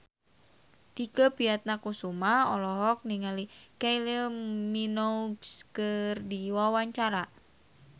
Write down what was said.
Tike Priatnakusuma olohok ningali Kylie Minogue keur diwawancara